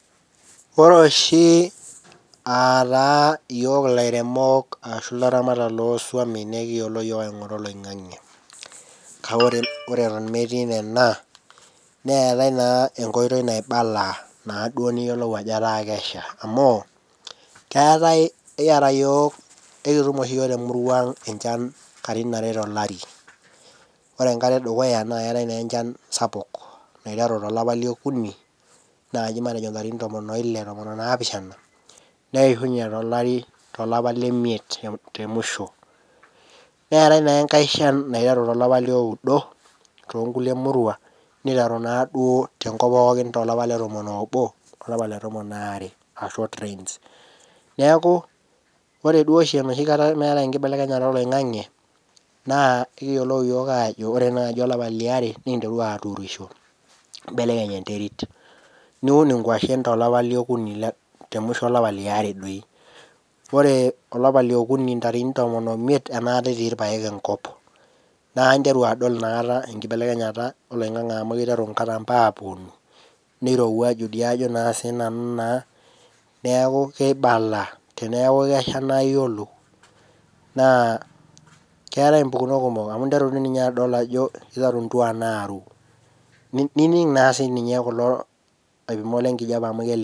Ore oshi ataa yiok kira ilairemok ashu ilaramatak loo isuomi nikiyiolo yook aingura oloingange. Kake ore etno emetii nena, neatae naa enkoitoi naibala naaduo niyiolou ajo etaa kesha amuu, keatae ekieta yook ekitum oshi yook temuruaang enchan inkatitin are te ilari. Ore enkata edukuya naa keatae naa enchan sapuk naiteru te ilopa le okuni naaji matejo intarikini tomon oile otomon naapishana, nieshunye te ilari to ilopa le imiet te mushoo. Neatae naa enkae inshan naiteru to lopa loudo, too inkule murrua, neiteru naa duo te nkop pookin to lapa te tomon obo, olapa lapa le tomon oare aa short rains. Neaku ore duo oshi enoshi kata naatae nkibelekenyata eloingange ,naa ekiyolou yook aajo ore naaji elapa le eare nikinteru yook aaturisho, nikimbelekeny enterit, niun inkoshen te lopa le okuni, te musho elapa le oare doi. Ore olapa le okuni intarikini tomon oimiet anata etii irpaek enkop. Naaku interu adol inakata enkibelekenyata oloingange amu keiteru inkatambo aaponu, neirewuaju dei ajo naa sii nanu naa, neaku keibala, teneaku kesha naaku iyolou, naa keatae impukunot kumok amu interu ninye adol ajo eitaru intuan aaru, nining naa sii ninye kulo alimuak le enkijape amu kelimu.